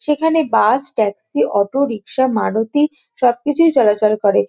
সেখানে bus taxi auto rickshaw Maruti সবকিছুই চলাচল করে।